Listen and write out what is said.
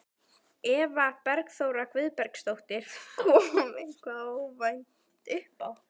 Eva Bergþóra Guðbergsdóttir: Kom eitthvað óvænt uppá?